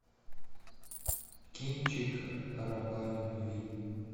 кинчик раба любви